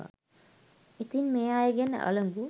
ඉතින් මේ අයගෙන් අලගු